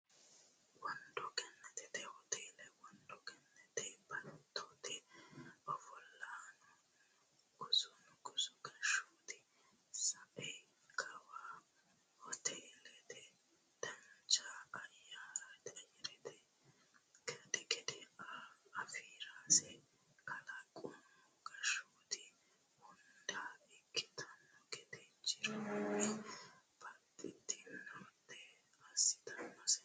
Wondo Gannatete hoteele Wondo Gannate baattote ofollanninna Nugusu gashshooti sai kawa hoteellate dancha ayyarete gade afi rase kalaqamu gashshooti hunda ikkitanno gede jironni baxxitinota assitinose.